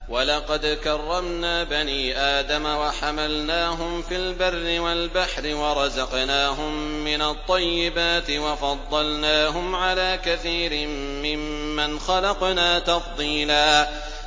۞ وَلَقَدْ كَرَّمْنَا بَنِي آدَمَ وَحَمَلْنَاهُمْ فِي الْبَرِّ وَالْبَحْرِ وَرَزَقْنَاهُم مِّنَ الطَّيِّبَاتِ وَفَضَّلْنَاهُمْ عَلَىٰ كَثِيرٍ مِّمَّنْ خَلَقْنَا تَفْضِيلًا